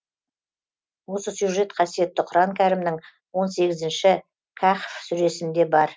осы сюжет қасиетті құран кәрімнің он сегізінші кәхф сүресінде бар